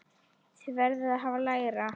Þið verðið að hafa lægra.